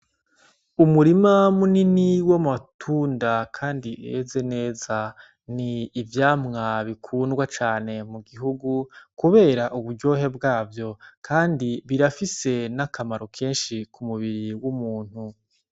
Umurima munini w' amatunda kandi weze neza ni ivyamwa bikundwa cane mugihugu kubera uburyohe bwavyo kandi birafise n'akamaro kenshi kumubiri w' umuntu.